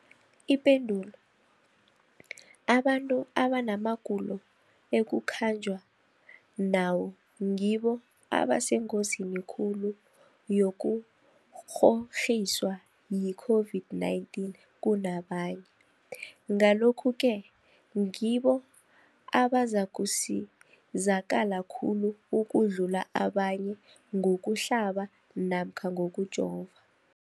Ipendulo, abantu abanamagulo ekukhanjwa nawo ngibo abasengozini khulu yokukghokghiswa yi-COVID-19 kunabanye, Ngalokhu-ke ngibo abazakusizakala khulu ukudlula abanye ngokuhlaba namkha ngokujova.